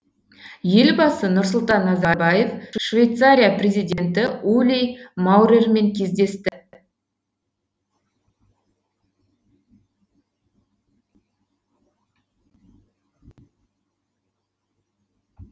елбасы нұрсұлтан назарбаев швейцария президенті ули маурермен кездесті